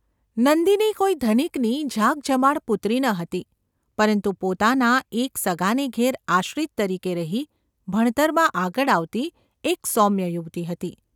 નંદિની કોઈ ધનિકની ઝાકઝમાળ પુત્રી ન હતી, પરંતુ પોતાના એક સગાને ઘેર આશ્રિત તરીકે રહી, ભણતરમાં આગળ આવતી એક સૌમ્ય યુવતી હતી.